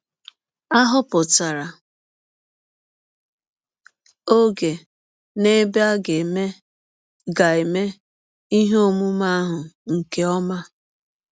A họpụtara ọge na ebe a ga - eme ga - eme ihe ọmụme ahụ nke ọma.